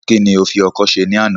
Kí ni o fi kọ isẹ́ ní àná